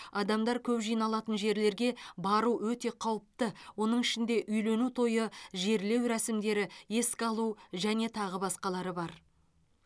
адамдар көп жиналатын жерлерге бару өте қауіпті оның ішінде үйлену тойы жерлеу рәсімдері еске алу және тағы басқасы бар